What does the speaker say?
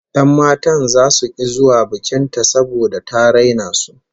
Yan matan zasu ki zuwa bikin ta saboda ta raina su